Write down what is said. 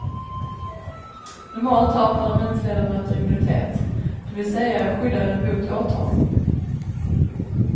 Normalt har parlamentsledamöter immunitet, det vill säga är skyddade mot åtal.